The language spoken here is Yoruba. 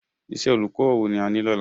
Iṣẹ́ olùkọ́ wo ni a ní lọ́la